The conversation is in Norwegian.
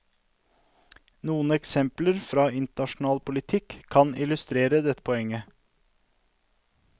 Noen eksempler fra internasjonal politikk kan illustrere dette poenget.